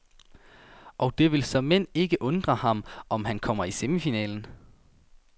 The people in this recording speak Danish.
Og det vil såmænd ikke undre ham, om han kommer i semifinalen.